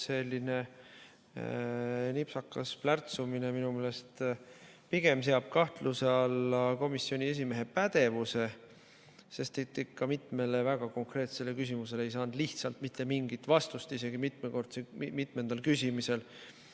Selline nipsakas plärtsumine seab minu meelest pigem kahtluse alla komisjoni esimehe pädevuse, sest mitmele väga konkreetsele küsimusele ei saanud lihtsalt mitte mingit vastust isegi mitmendal küsimisel.